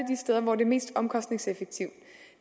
steder hvor det er mest omkostningseffektivt